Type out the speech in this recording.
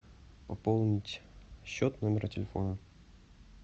пополнить счет номера телефона